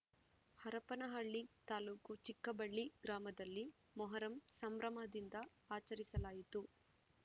ಹರಪನಹಳ್ಳಿ ತಾಲೂಕು ಚಿಕ್ಕಬಳ್ಳಿ ಗ್ರಾಮದಲ್ಲಿ ಮೊಹರಂ ಸಂಭ್ರಮದಿಂದ ಆಚರಿಸಲಾಯಿತು